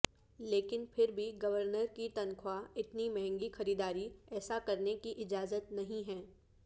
لیکن پھر بھی گورنر کی تنخواہ اتنی مہنگی خریداری ایسا کرنے کی اجازت نہیں ہے